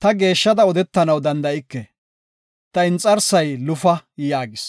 Ta geeshshada odetanaw danda7ike; ta inxarsay lufa” yaagis.